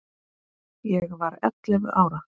Ég var ellefu ára.